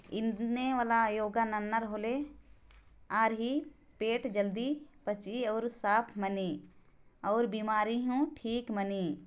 इन्ने वाला लोग नानार होले आरही पेट जल्दी पचही और साफ मनी और बीमारी हु ठीक मनी